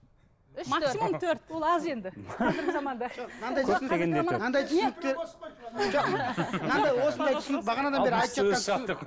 ол аз енді қазіргі заманда